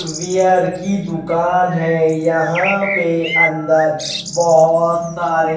beer की दुकान है यहां पे अंदर बहुत सारे --